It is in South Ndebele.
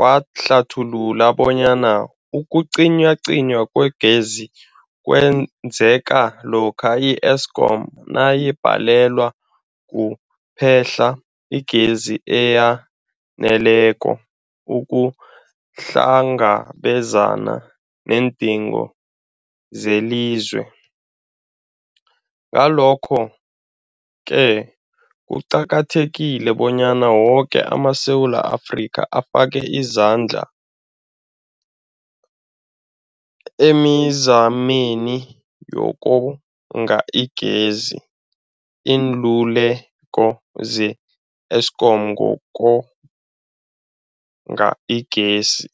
wahlathulula bonyana ukucinywacinywa kwegezi kwenzeka lokha i-Eskom nayibhalelwa kuphe-hla igezi eyaneleko ukuhlangabezana neendingo zelizwe. Ngalokho-ke kuqakathekile bonyana woke amaSewula Afrika afake isandla emizameni yokonga igezi. Iinluleko ze-Eskom ngokonga igezi.